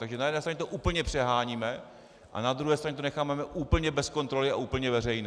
Takže na jedné straně to úplně přeháníme a na druhé straně to necháváme úplně bez kontroly a úplně veřejné.